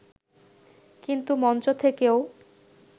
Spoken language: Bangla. কিন্তু মঞ্চ থেকেও